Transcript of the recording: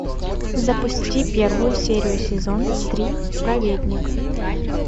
запусти первую серию сезон три праведник